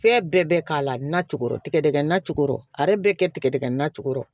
Fɛn bɛɛ bɛ k'a la nacogo tɛ dɛgɛ na cogo a yɛrɛ bɛ kɛ tigɛdɛgɛ na cogo